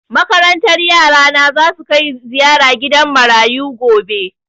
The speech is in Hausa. Makarantar yara na za su kai ziyara gidan marayu gobe.